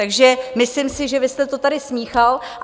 Takže si myslím, že vy jste to tady smíchal.